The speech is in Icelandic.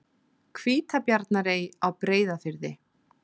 Hvítabjarnarey á Breiðafirði.